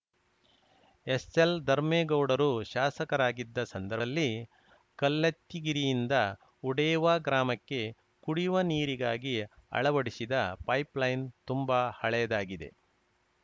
SL ಧರ್ಮೇಗೌಡರು ಶಾಸಕರಾಗಿದ್ದ ಸಂದದಲ್ಲಿ ಕಲ್ಲತ್ತಿಗಿರಿಯಿಂದ ಉಡೇವಾ ಗ್ರಾಮಕ್ಕೆ ಕುಡಿಯುವ ನೀರಿಗಾಗಿ ಅಳವಡಿಸಿದ ಪೈಪ್‌ಲೈನ್‌ ತುಂಬ ಹಳೆಯದಾಗಿದೆ